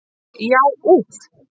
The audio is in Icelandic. Já úff!